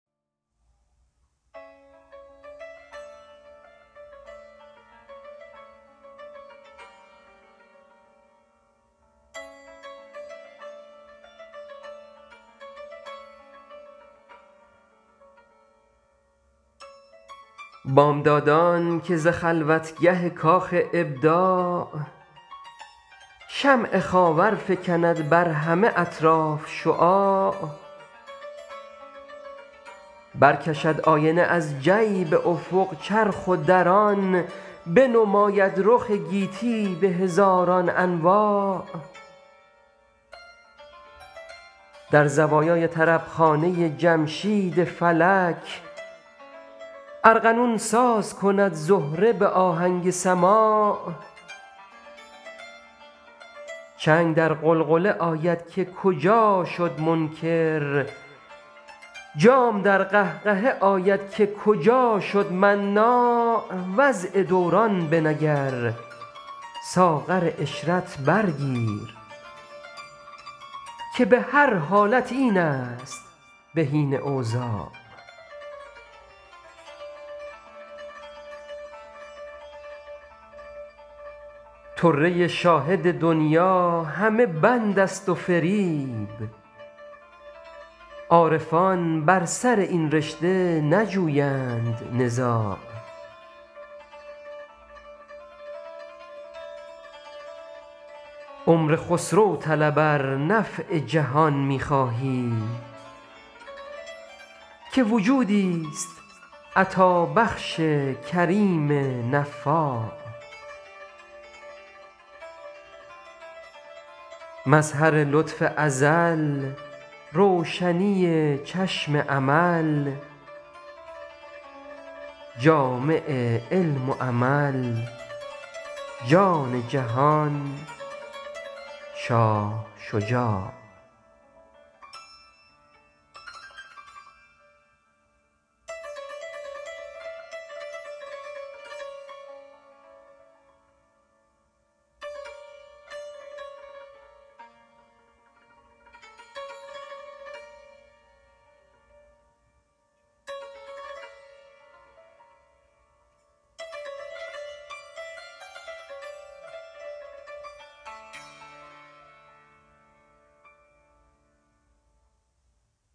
بامدادان که ز خلوتگه کاخ ابداع شمع خاور فکند بر همه اطراف شعاع برکشد آینه از جیب افق چرخ و در آن بنماید رخ گیتی به هزاران انواع در زوایای طربخانه جمشید فلک ارغنون ساز کند زهره به آهنگ سماع چنگ در غلغله آید که کجا شد منکر جام در قهقهه آید که کجا شد مناع وضع دوران بنگر ساغر عشرت بر گیر که به هر حالتی این است بهین اوضاع طره شاهد دنیی همه بند است و فریب عارفان بر سر این رشته نجویند نزاع عمر خسرو طلب ار نفع جهان می خواهی که وجودیست عطابخش کریم نفاع مظهر لطف ازل روشنی چشم امل جامع علم و عمل جان جهان شاه شجاع